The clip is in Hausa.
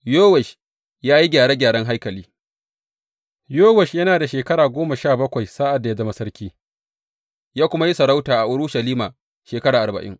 Yowash ya yi gyare gyaren haikali Yowash yana da shekara goma sha bakwai sa’ad da ya zama sarki, ya kuma yi sarauta a Urushalima shekara arba’in.